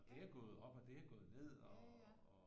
Og det har gået op og det har gået ned og